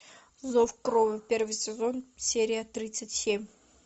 зов крови первый сезон серия тридцать семь